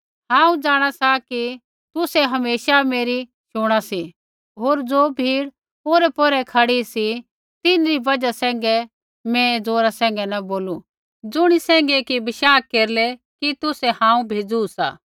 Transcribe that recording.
हांऊँ जाँणा ती कि तुसै हमेशा मेरी शुणा सी पर ज़ो भीड़ ओरैपौरै खड़ी सी तिन्हरी बजहा सैंघै मैं ऐ ज़ोरा न बोलू ज़ुणी सैंघै कि बशाह केरलै कि तुसै हांऊँ भेज़ू सा